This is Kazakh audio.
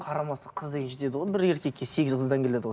қарамаса қыз деген жетеді ғой бір еркекке сегіз қыздан келеді ғой